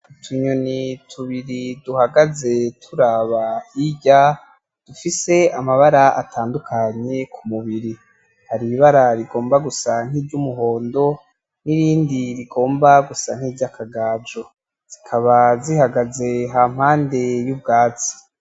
Utunyoni tubiri duhagaze turaba hirya, dufise amabara atandukanye kumubiri. Hari ibara rigomba gusa nkiry'umuhondo irindi rigomba gusa nkiry'akagajo. Zikaba zihagaze hampande yubwatsi.